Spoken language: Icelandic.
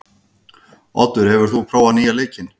Oddur, hefur þú prófað nýja leikinn?